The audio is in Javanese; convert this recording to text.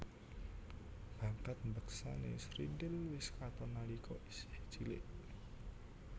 Bakat mbeksané srintil wis katon nalika isih cilik